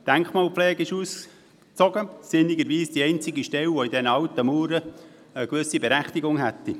Die Denkmalpflege ist ausgezogen, sinnigerweise die einzige Stelle, die in diesen alten Mauern eine gewisse Berechtigung hätte.